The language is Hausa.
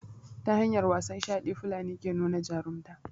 ta hanyar wasan shaɗi fulani ke nuna jarumta